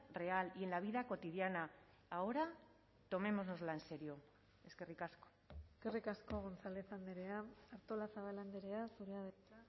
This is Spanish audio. real y en la vida cotidiana ahora tomémonoslo en serio eskerrik asko eskerrik asko gonzález andrea artolazabal andrea zurea da hitza